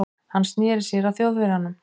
Hann sneri sér að Þjóðverjanum.